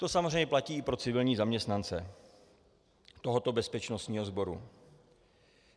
To samozřejmě platí i pro civilní zaměstnance tohoto bezpečnostního sboru.